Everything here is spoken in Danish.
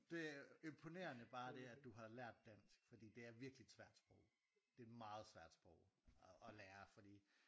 Det øh imponerende bare det at du har lært dansk fordi det er virkelig et svært sprog det er et meget svært sprog at lære fordi